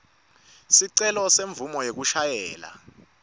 sicelo semvumo yekushayela